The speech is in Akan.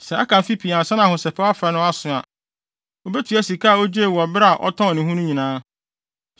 Sɛ aka mfe pii ansa na Ahosɛpɛw Afe no aso a, obetua sika a ogyee wɔ bere a ɔtɔn ne ho no nyinaa.